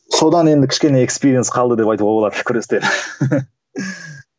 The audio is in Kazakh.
содан енді кішкене қалды деп айтуға болады күрестен